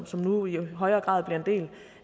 som nu i højere grad bliver en del